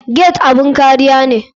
Gate abun kariya ne.